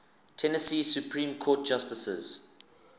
tennessee supreme court justices